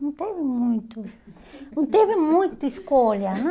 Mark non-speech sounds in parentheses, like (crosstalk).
Não teve muito, (laughs) não teve muita escolha, né?